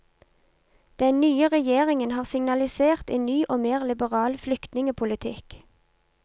Den nye regjeringen har signalisert enn ny og mer liberal flyktningepolitikk.